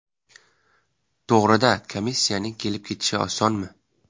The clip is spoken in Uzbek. To‘g‘ri-da, komissiyaning kelib-ketishi osonmi?